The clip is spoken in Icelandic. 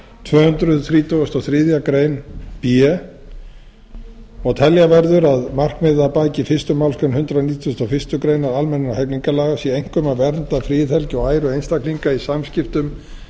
tvö hundruð þrítugustu og þriðju grein b og telja verður að markmið að baki fyrstu málsgrein hundrað nítugasta og fyrstu grein almennra hegningarlaga sé einkum að vernda friðhelgi og æru eisntkalinga í samskiptum